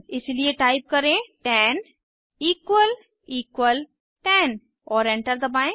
इसलिए टाइप करें 10 10 और एंटर दबाएं